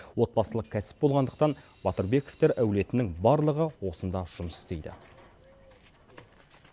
отбасылық кәсіп болғандықтан батырбековтер әулетінің барлығы осында жұмыс істейді